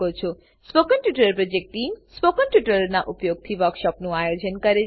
spoken tutorial project team spoken ટ્યુટોરીયલોનાં ઉપયોગથી વર્કશોપોનું આયોજન કરે છે